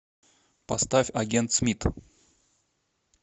поставь агент смит